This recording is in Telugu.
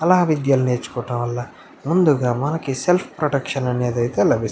ఆలా విద్యల్ని నేర్చుకోవడంవల్ల ముందుగా మనకి సెల్ఫ్ ప్రొటెక్షన్ అనేది ఐతే లభిస్తు --